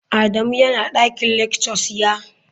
Adamu yana dakin lectures, ya?